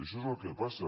això és el que passa